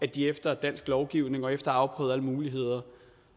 de efter dansk lovgivning og efter afprøvet alle muligheder